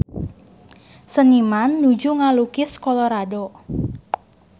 Seniman nuju ngalukis Colorado